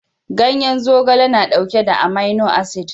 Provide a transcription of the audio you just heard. Ganyen zogale na dauke da amino acid